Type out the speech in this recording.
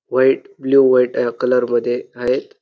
White blue white uh colour मध्ये आहेत.